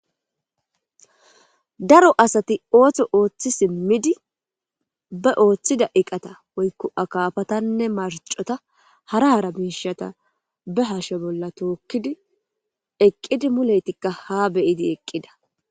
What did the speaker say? daro asati ooththo ooththi simmidi ba ooththida iqata woykko akaafatanne marcota hara hara biishata be hashe bolla tookkidi eqqidi muleytikka ha beyidi eqqida